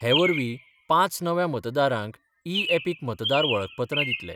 हे वरवीं पांच नव्या मतदारांक इ यॅपिक मतदार वळखपत्रां दितले.